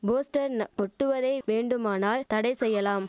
போஸ்டர்ன ஒட்டுவதை வேண்டுமானால் தடை செய்யலாம்